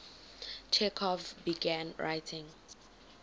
chekhov began writing